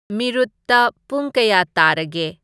ꯃꯤꯔꯨꯠꯇ ꯄꯨꯡ ꯀꯌꯥ ꯇꯥꯔꯒꯦ